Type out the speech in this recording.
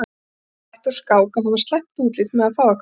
Ekki bætti úr skák að það var slæmt útlit með að fá eitthvað að gera.